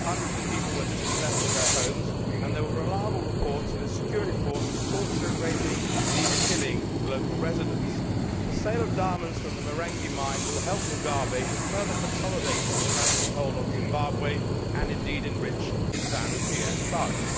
Hundreds of people were dispossessed of their homes and there are reliable reports of his security forces torturing, raping, and even killing, local residents. The sale of diamonds from the Marange mine will help Mugabe to further consolidate his tyrannical hold on Zimbabwe and, indeed, enrich his Zanu PF thugs.